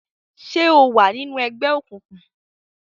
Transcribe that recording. ṣe o wá nínú ègbé òkùnkùn?